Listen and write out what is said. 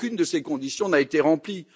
Aucune de ces conditions n'a été remplie.